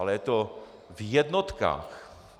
Ale je to v jednotkách.